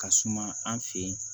Ka suma an fe yen